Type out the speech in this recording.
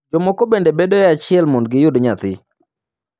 Jomoko bende bedoe achiel mondo giyud nyathi.